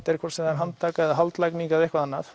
hvort sem það er handtaka eða haldlagning eða eitthvað annað